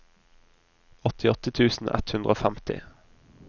åttiåtte tusen ett hundre og femti